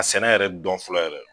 Ka sɛnɛ yɛrɛ dɔn fɔlɔ yɛrɛ.